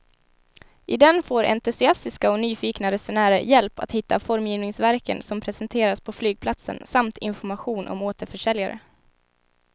I den får entusiastiska och nyfikna resenärer hjälp att hitta formgivningsverken som presenteras på flygplatsen samt information om återförsäljare.